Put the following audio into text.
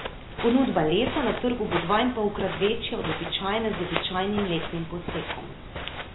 Ponudba lesa na trgu bo dvainpolkrat večja od običajne z običajnim letnim posekom.